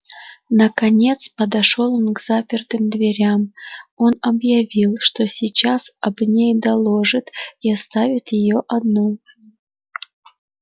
наконец подошёл ну к запертым дверям он объявил что сейчас об ней доложит и оставит её одну